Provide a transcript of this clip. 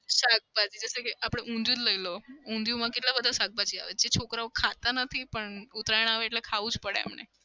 શાકભાજી ઊંધિયું જ લઇ લો કેટલા બધા શાકભાજી આવે છે છોકરાઓ ખાતા નથી પણ ઉતરાયણ આવે એટલે ખાઉં જ પડે એમને.